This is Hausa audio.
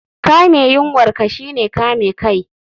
Kame yunwar ka shine kame kai